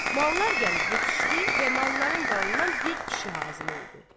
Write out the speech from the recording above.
Mallar gəlib yetişdi və malların dalından bir kişi hasil oldu.